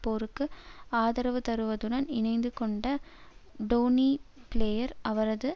போருக்கு ஆதரவுதருவதுடன் இணைத்து கொண்ட டோனி பிளேயர் அவரது